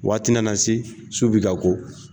Waati na se , su bi ka ko